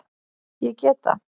Ég get það.